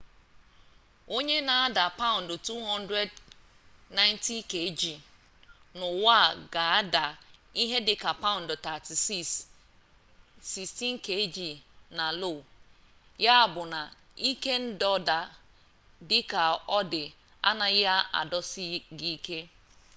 onye na-ada paụndụ 200 kg90 n'ụwa ga-ada ihe dịka paụndụ 36 kg16 na lo. ya bụ na ike ndọda dịka ọ dị anaghị adọsi gị ike